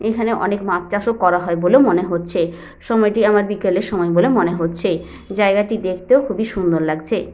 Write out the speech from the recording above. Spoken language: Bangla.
এইখানে অনেক মাছ চাষ ও করা হয় বলে মনে হচ্ছে। সময় টি আমার বিকালের সময় বলে মনে হচ্ছে। জায়গাটি দেখতে ও খুবই সুন্দর লাগছে।